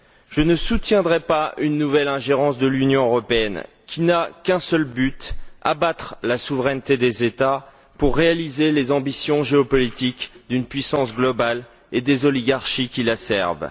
Je ne soutiendrai pas une nouvelle ingérence de l'Union européenne qui n'a qu'un seul but abattre la souveraineté des États pour réaliser les ambitions géopolitiques d'une puissance globale et des oligarchies qui la servent.